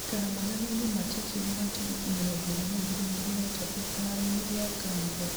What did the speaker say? gũĩkĩra monanio-inĩ ma churchill ma tarĩki mĩrongo ĩrĩ na igĩrĩ mweri wa ĩtatũ kĩharo-inĩ gĩa carnivore